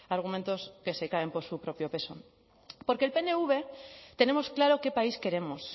argumentos que se caen por su propio peso porque el pnv tenemos claro qué país queremos